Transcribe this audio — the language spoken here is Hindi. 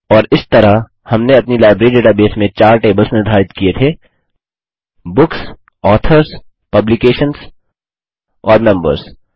और इस तरह हमने अपनी लाइब्रेरी डेटाबेस में चार टेबल्स निर्धारित किये थे बुक्स ऑथर्स पब्लिकेशंस और मेंबर्स